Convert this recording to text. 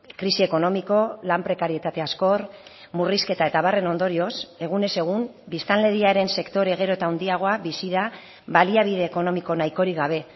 krisi ekonomiko lan prekarietate azkor murrizketa eta abarren ondorioz egunez egun biztanleriaren sektore gero eta handiagoa bizi da baliabide ekonomiko nahikorik gabe